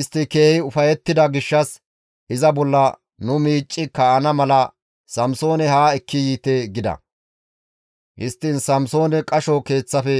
Istti keehi ufayettida gishshas, «Iza bolla nu miicci kaa7ana mala Samsoone haa ekki yiite» gida; histtiin Samsoone qasho keeththafe